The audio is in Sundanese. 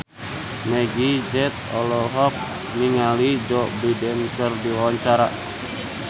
Meggie Z olohok ningali Joe Biden keur diwawancara